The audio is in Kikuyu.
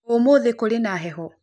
Ũmũthĩ kũrĩ na heho?